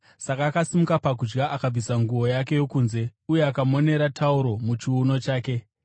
saka akasimuka pakudya, akabvisa nguo yake yokunze, uye akamonera tauro muchiuno chake.